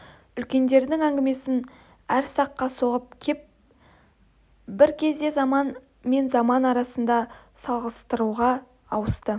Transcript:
үлкендердің әңгімесі әр саққа соғып кеп бір кезде заман мен заман арасын салғастыруға ауысты